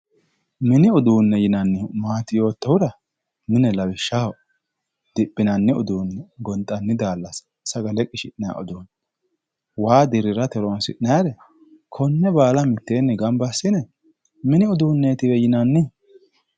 Mini uduunne yinannihu maati yoottohura mine lawishshaho diphinanni uduunne gonxanni daallasa sagale qishi'nayi uduunne waa dirrirate horoonsi'nayire konne baala mitteenni gamba assine mini uduunneetiwe yinanni.